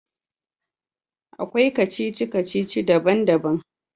Akwai kacici-kacici daban-daban.